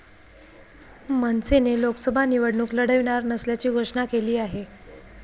मनसेने लोकसभा निवडणूक लढविणार नसल्याची घोषणा केली आहे.